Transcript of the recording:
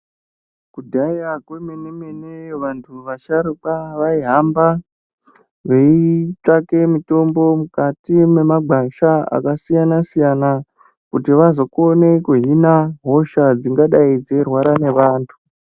Kudhaya kwemene -mene, vantu vasharukwa, vaihamba veitsvake mitombo mukati mwemagwasha akasiyana-siyana, kuti vazokone kuhina hosha dzingadai dzeirwara nevantu.